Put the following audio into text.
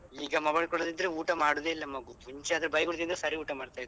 ಈಗ mobile ಕೊಡದಿದ್ರೆ ಊಟ ಮಾಡುದೇ ಇಲ್ಲ ಮಗು. ಮುಂಚೆ ಆದ್ರೆ ಬೈಗುಳ ತಿಂದ್ರೆ ಸರಿ ಊಟ ಮಾಡ್ತಿತ್ತು.